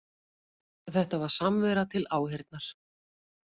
Þetta var samvera til áheyrnar